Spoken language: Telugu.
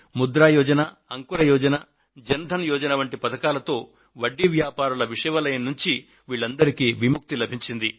ముద్రా యోజన అంకుర యోజన జన్ ధన్ యోజన ల వంటి పథకాలతో వడ్డీ వ్యాపారుల విష వలయం నుండి వీళ్లందరికీ విముక్తి లభించింది